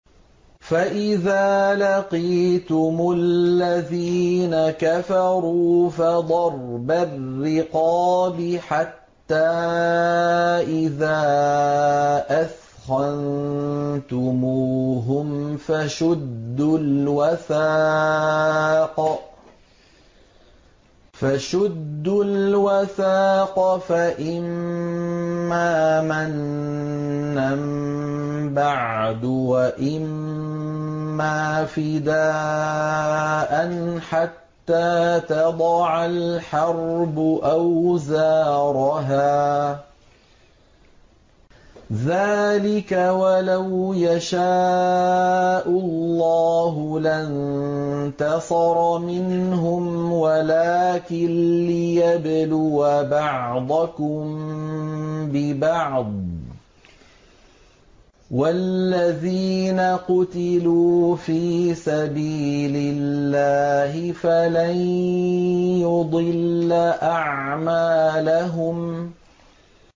فَإِذَا لَقِيتُمُ الَّذِينَ كَفَرُوا فَضَرْبَ الرِّقَابِ حَتَّىٰ إِذَا أَثْخَنتُمُوهُمْ فَشُدُّوا الْوَثَاقَ فَإِمَّا مَنًّا بَعْدُ وَإِمَّا فِدَاءً حَتَّىٰ تَضَعَ الْحَرْبُ أَوْزَارَهَا ۚ ذَٰلِكَ وَلَوْ يَشَاءُ اللَّهُ لَانتَصَرَ مِنْهُمْ وَلَٰكِن لِّيَبْلُوَ بَعْضَكُم بِبَعْضٍ ۗ وَالَّذِينَ قُتِلُوا فِي سَبِيلِ اللَّهِ فَلَن يُضِلَّ أَعْمَالَهُمْ